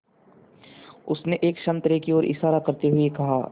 उसने एक संतरे की ओर इशारा करते हुए कहा